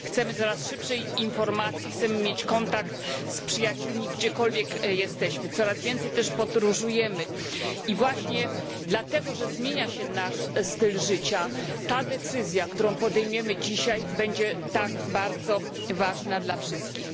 Chcemy coraz szybszej informacji, chcemy mieć kontakt z przyjaciółmi gdziekolwiek jesteśmy, coraz więcej też podróżujemy i właśnie dlatego że zmienia się nasz styl życia ta decyzja, którą podejmiemy dzisiaj, będzie tak bardzo ważna dla wszystkich.